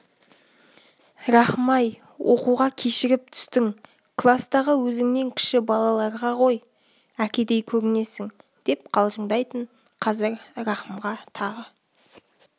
рахым-ай оқуға кешігіп түстің кластағы өзіңнен кіші балаларға ғой әкедей көрінесің деп қалжыңдайтын қазір рахымға тағы